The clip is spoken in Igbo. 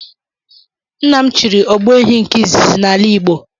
Nna m chịrị ogbu ehi nke izizi n’ala igbo